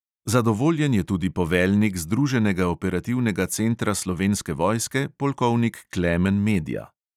Zadovoljen je tudi poveljnik združenega operativnega centra slovenske vojske, polkovnik klemen medja.